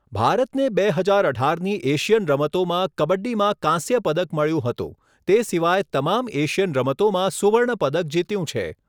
ભારતને બે હજાર અઢારની એશિયન રમતોમાં કબડ્ડીમાં કાંસ્ય પદક મળ્યું હતું, તે સિવાય તમામ એશિયન રમતોમાં સુવર્ણ પદક જીત્યું છે.